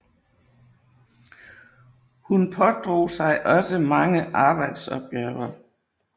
Hun pådrog sig også mange arbejdsopgaver